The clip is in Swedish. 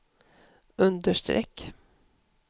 understreck